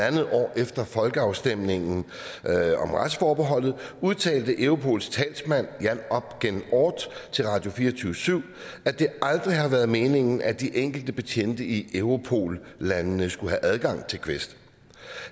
en halv år efter folkeafstemningen om retsforbeholdet udtalte europols talsmand jan op gen oorth til radio24syv at det aldrig har været meningen at de enkelte betjente i europol landene skulle have adgang til quest